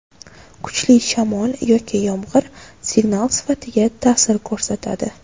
Kuchli shamol yoki yomg‘ir, signal sifatiga ta’sir ko‘rsatadi.